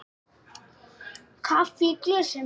Kaffi í glösum.